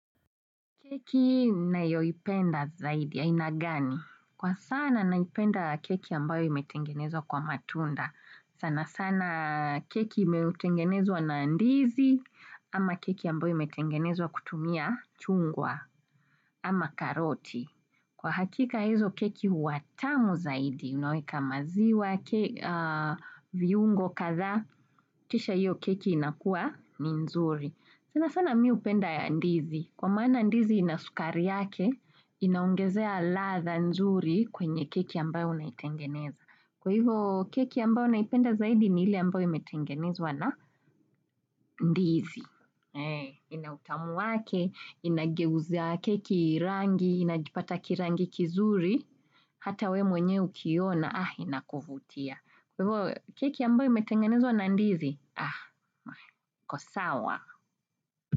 Keki unayoipenda zaidi, aina gani? Kwa sana naipenda keki ambayo imetengenezwa kwa matunda. Sana sana keki inayotengenezwa na ndizi, ama keki ambayo imetengenezwa kutumia chungwa, ama karoti. Kwa hakika hizo keki huwa tamu zaidi, unaweka maziwa, viungo kadhaa, kisha hio keki inakua ni nzuri. Sana sana mi upenda ya ndizi. Kwa maana ndizi ina sukari yake, inaongezea ladha nzuri kwenye keki ambayo unaitengeneza. Kwa hivo keki ambayo naipenda zaidi ni ile ambayo imetengenezwa na ndizi. Ina utamu wake, inageuza keki rangi, inajipata kirangi kizuri, hata we mwenye ukiona, inakuvutia. Kwa hivo keki ambayo imetengenezwa na ndizi iko sawa.